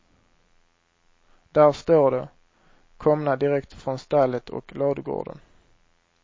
Där står de, komna direkt från stallet och ladugården.